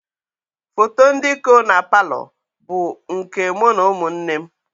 Foto ndị kọ na paalọ bụ nke mụ na ụmụ nne m